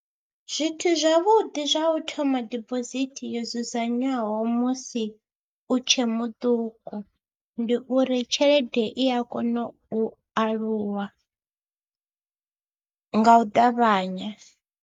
Zwithu zwavhuḓi zwa u thoma dibosithi yo dzudzanywaho musi u tshe muṱuku ndi uri tshelede i a kona u aluwa nga u ṱavhanya.